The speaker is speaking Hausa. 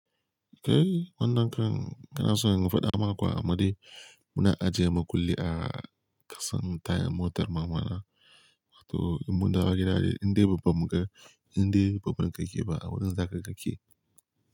Kai wannan kan, kanason in faɗa maka Amadu muna ajiye makulli a kasan tayan motar mama na. Wato in mundawo gida dai yanzu, indai babu mu ga, inda babu mun kakke ba, a wurin za ka kakke.